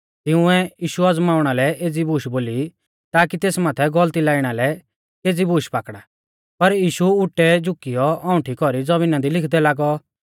तिंउऐ यीशु अज़माउणा लै एज़ी बूश बोली ताकी तेस माथै गौलती लाइणा लै केज़ी बूश पाकड़ा पर यीशु उटै झुकियौ औंउठी कौरी ज़मीना दी लिखदै लागौ